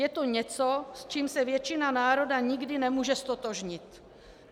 Je to něco, s čím se většina národa nikdy nemůže ztotožnit.